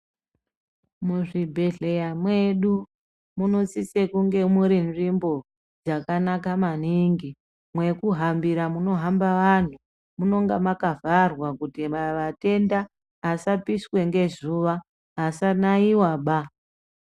Muzvibhehleya mwedu unosise kunge mune nzvimbo dzakanaka maningi. Mwekugambira munohamba vanhu munenge makavharwa kuti vatenda vasa vapiswa ngezuva, vasanayiwaba.